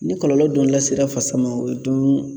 Ni kɔlɔlɔ dun lasera fasa ma, o ye dun